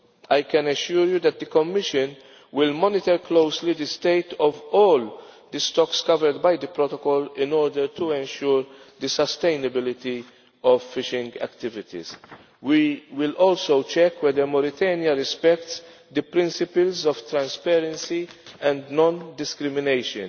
I can assure you that the Commission will monitor closely the state of all the stocks covered by the protocol in order to ensure the sustainability of fishing activities. We will also check whether Mauritania respects the principles of transparency and non discrimination.